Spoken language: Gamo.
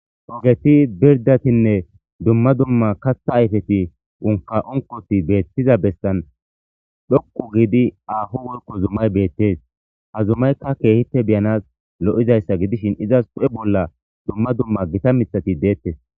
ogeti pirdatinne dumma dumma kattha ayfeti unka onkoti beettiza bessan dhokku gidi aho wolko zummay beettees ha zumaykka keehite biyanas lo7izayssa gidishin izas pu7e bolla dumma dumma gita mithati deettes